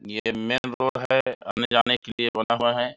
ये main road है आने -जाने के लिए बना हुआ है।